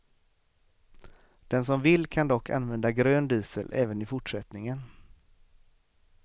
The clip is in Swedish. Den som vill kan dock använda grön diesel även i fortsättningen.